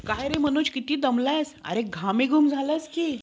आणि